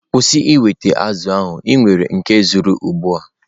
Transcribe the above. Kwụsị ịweta azụ̀ ahụ!, i nwere nke ezuru ugbua